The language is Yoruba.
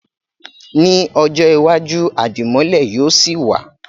Ní ọjọ́ iwájú, Àdìmọ́lẹ̀ yóò sì wa